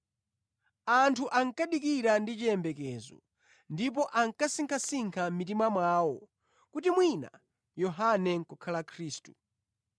Anthu ankadikira ndi chiyembekezo ndipo ankasinkhasinkha mʼmitima mwawo kuti mwina Yohane nʼkukhala Khristu.